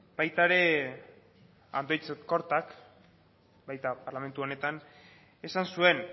baita ere andoitz kortak baita parlamentu honetan esan zuen